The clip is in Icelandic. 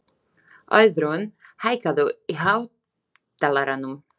Auðrún, hækkaðu í hátalaranum.